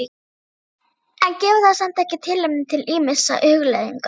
En gefur það samt ekki tilefni til ýmissa hugleiðinga?